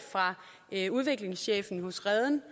af udviklingschefen hos reden